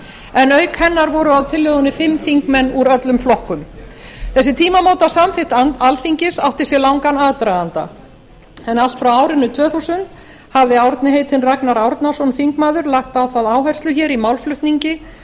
en auk hennar voru á tillögunni fimm þingmenn úr öllum flokkum þessi tímamótasamþykkt alþingis átti sér langan aðdraganda en allt frá árinu tvö þúsund hafði árni heitinn ragnar árnason þingmaður lagt á það áherslu hér í málflutningi